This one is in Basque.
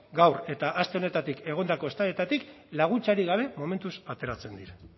gaur eta aste honetatik egondako eztabaidatik laguntzarik gabe momentuz ateratzen dira